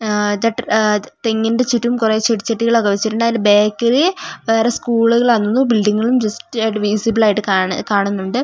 അ തട്ട അ തെങ്ങിന്റെ ചുറ്റും കൊറേ ചെടിച്ചട്ടികളൊക്കെ വെച്ചിട്ടുണ്ട് അയിന്റെ ബാക്കില് വേറെ സ്ക്കൂളുകളാന്ന് തോന്നു ബിൽഡിംഗുകളും ജസ്റ്റ് ആയിട്ട് വിസിബിൾ ആയിട്ട് കാണുന്നുണ്ട്.